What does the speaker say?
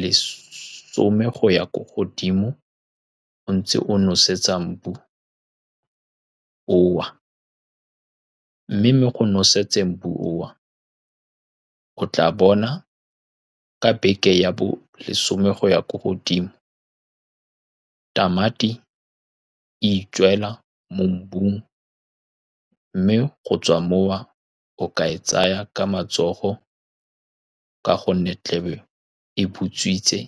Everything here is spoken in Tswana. lesome go ya ko godimo, o ntse o nosetsang mobu oo, mme mo go nosetseng mobu oo, o tla bona ka beke ya bolesome go ya ko godimo, tamati e itswela mo mobung, mme go tswa moo o ka e tsaya ka matsogo ka gonne e tlabe e butswitse.